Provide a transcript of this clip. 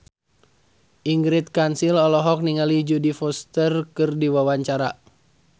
Ingrid Kansil olohok ningali Jodie Foster keur diwawancara